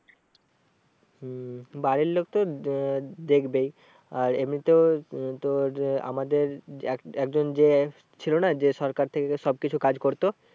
হম বাড়ির লোক তো আহ দেখবেই আর এমনিতেও উম তোর আমাদের একজন যে ছিল না যে সরকার থেকে সব কিছু কাজ করতো